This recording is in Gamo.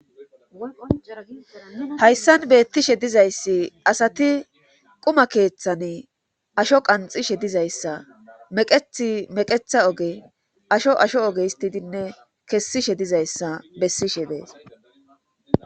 Haysan beetishe dizayssi asati qumma keeththani asho qanxishe dizayssa meqethi meqetha oge asho asho oge histidinne kesishe dizayssa besishe de'ees.